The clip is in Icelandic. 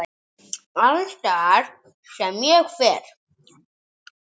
Alls staðar sem ég fer.